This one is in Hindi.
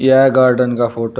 यह गार्डन का फोटो --